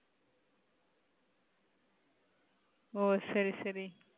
ஒ சரி சரி.